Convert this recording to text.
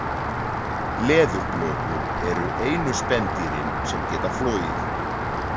Leðurblökur eru einu spendýrin sem geta flogið.